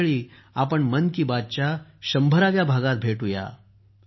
पुढच्या वेळी आपण मन की बातच्या 100 व्या भागात भेटू या